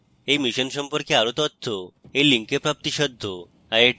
এই মিশনের সম্পর্কে আরো তথ্য এই link প্রাপ্তিসাধ্য